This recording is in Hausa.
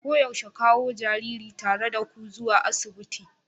Koyaushe kawo jariri tare da ku zuwa asibiti.